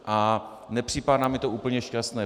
A nepřipadá mi to úplně šťastné.